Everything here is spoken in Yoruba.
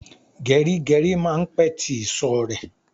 Geri geri máa ń pè tí ìsò rẹ